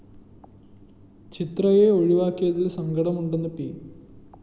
ചിത്രയെ ഒഴിവാക്കിയതില്‍ സങ്കടമുണ്ടെന്ന് പി